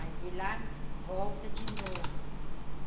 Aí de lá volta de novo.